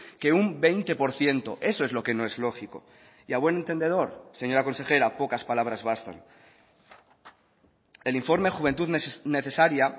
que un veinte por ciento eso es lo que no es lógico y a buen entendedor señora consejera pocas palabras bastan el informe juventud necesaria